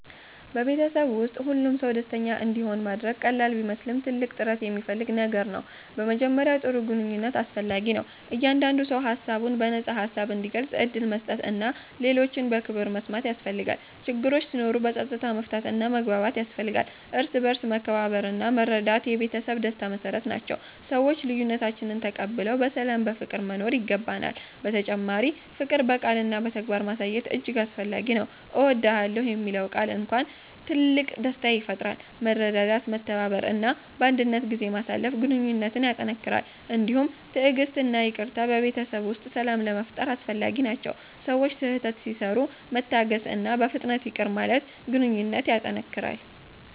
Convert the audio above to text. በቤተሰብ ውስጥ ሁሉም ሰው ደስተኛ እንዲሆን ማድረግ ቀላል ቢመስልም ትልቅ ጥረት የሚፈልግ ነገር ነው። በመጀመሪያ ጥሩ ግንኙነት አስፈላጊ ነው፤ እያንዳንዱ ሰው ሀሳቡን በነፃ ሀሳብ እንዲገልጽ ዕድል መስጠት እና ሌሎችን በክብር መስማት ያስፈልጋል። ችግሮች ሲኖሩ በፀጥታ መፍታት እና መግባባት ያስፈልጋል፤ እርስ በርስ መከባበርና መረዳት የቤተሰብ ደስታ መሰረት ናቸው፤ ሰዎች ልዬነታችንን ተቀብለን በሰላም በፍቅር መኖር ይገባናል። በተጨማሪ ፍቅር በቃልና በተግባር ማሳየት እጅግ አስፈላጊ ነው። እወድዳለሁ የሚለው ቃል እንኳን ትልቅ ደስታ ይፈጥራል። መረዳዳት፤ መተባበር እና ባንድነት ጊዜ ማሳለፍ ግንኙነትን ያጠነክራል። እንዲሁም ትዕግሥት እና ይቅርታ በቤተሰብ ውስጥ ሰላም ለመፋጠር አስፈላጊ ናቸው፤ ሰዎች ስህተት ሲሰሩ መታገስእና በፍጥነት ይቅር ማለት ግንኘነት ያጠነክራል።